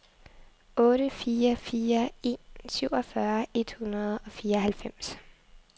otte fire fire en syvogfyrre et hundrede og fireoghalvfems